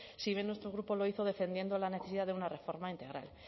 si bien nuestro grupo lo hizo defendiendo la necesidad de una reforma integral